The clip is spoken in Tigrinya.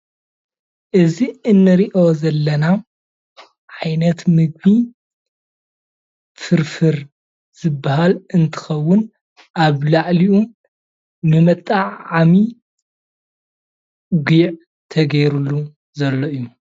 እዚ እንሪኦ ዘለና ዓይነት ምግቢ ፍርፍር ዝበሃል እንትከውን ኣብ ላዕሊኡ ንመጠዓዓሚ ጉዕ ተገይሩሉ ዘሎ እዩ፡፡